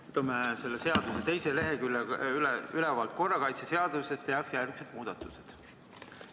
Võtame selle seaduseelnõu teisel leheküljel üleval oleva lause: "Korrakaitseseaduses tehakse järgmised muudatused ...